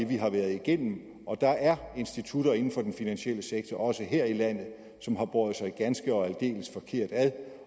vi har været igennem og der er institutter inden for den finansielle sektor også her i landet som har båret sig ganske og aldeles forkert ad